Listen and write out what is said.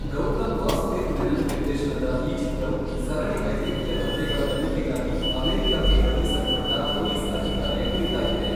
ಗೌತಮ್ ವಾಸುದೇವ್ ಮೆನನ್ ನಿರ್ದೇಶನದ ಈ ಚಿತ್ರವು ಸರಣಿ ವೈದ್ಯಕೀಯ ಹತ್ಯೆಗಳ ತನಿಖೆಗಾಗಿ ಅಮೆರಿಕಕ್ಕೆ ಕಳುಹಿಸಲ್ಪಟ್ಟ ಪೊಲೀಸ್ ಅಧಿಕಾರಿಯ ಕುರಿತಾಗಿದೆ.